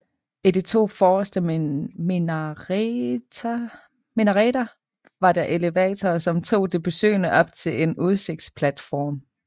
I de to forreste minareter var der elevatorer som tog de besøgende op til en udsigtsplatform